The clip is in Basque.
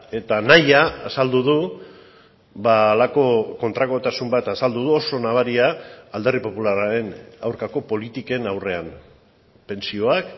eta nahia azaldu du halako kontrakotasun bat azaldu du oso nabaria alderdi popularraren aurkako politiken aurrean pentsioak